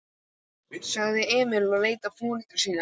sagði Emil og leit á foreldra sína.